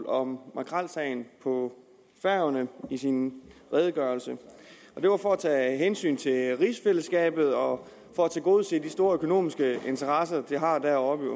om makrelsagen på færøerne i sin redegørelse det var for at tage hensyn til rigsfællesskabet og for at tilgodese de store økonomiske interesser man har deroppe i